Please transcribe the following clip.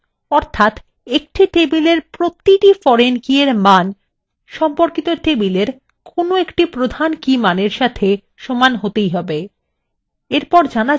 অর্থাত একটি tableএর প্রতিটি foreign keyএর মান সম্পর্কিত table কোনো একটি প্রধান key মানের সাথে সমান হতেই have